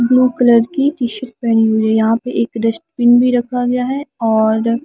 blue colour की T shirt पहनी हुई है यहां पे एक डस्टबिन भी रखा गया है और--